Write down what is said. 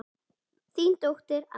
Þín dóttir, Adda.